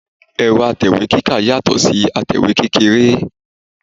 Ẹ̀rọ̀ atẹ̀wé kíkà yàtọ̀ si atẹ̀wé kékeré